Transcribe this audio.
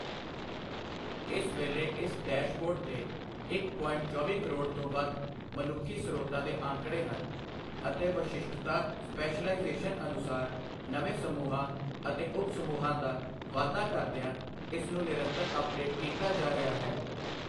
ਇਸ ਵੇਲੇ ਇਸ ਡੈਸ਼ਬੋਰਡ ਤੇ ਇੱਕ ਪੋਇੰਟ ਚੌਵੀ ਕਰੋੜ ਤੋਂ ਵੱਧ ਮਨੁੱਖੀ ਸਰੋਤਾਂ ਦੇ ਅੰਕੜੇ ਹਨ ਅਤੇ ਵਿਸ਼ਿਸ਼ਟਤਾ ਸਪੈਸ਼ਲਾਇਜ਼ੇਸ਼ਨ ਅਨੁਸਾਰ ਨਵੇਂ ਸਮੂਹਾਂ ਅਤੇ ਉੱਪ ਸਮੂਹਾਂ ਦਾ ਵਾਧਾ ਕਰਦਿਆਂ ਇਸ ਨੂੰ ਨਿਰੰਤਰ ਅਪਡੇਟ ਕੀਤਾ ਜਾ ਰਿਹਾ ਹੈ।